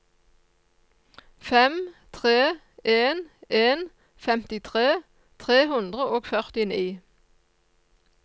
fem tre en en femtitre tre hundre og førtini